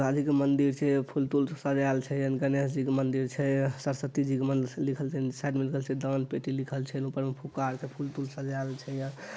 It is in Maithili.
काली के मंदिर छै फूल-तूल से सजायल छै एमें गणेश जी के मंदिर छै सरस्वती जी के मंदिर छै लिखल साइड में लिखल छै दान पेटी लिखल छै ऊपर में फुग्गा आर के फूल-तूल से सजायल छै।